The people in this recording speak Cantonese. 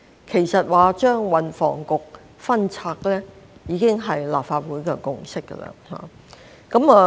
其實，將運輸及房屋局分拆，已經是立法會的共識。